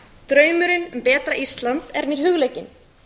draumurinn um betra ísland er mér hugleikinn